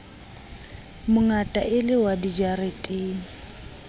mongata e le wa dijareteng